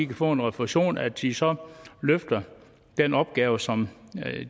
kan få en refusion og at de så løfter den opgave som